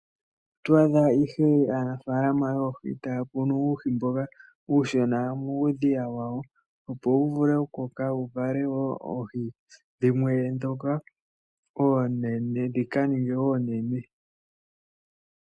Oto adha ihe aanafaalama yoohi taya kunu uuhimboka uushona muudhiya wayo. Opo wu vule okukoka wu kale woo oohi, dhimwe dhoka oonene dhika ninge oonene.